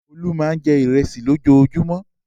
Olú máa jẹ ìrẹsì lójoojúmọ́.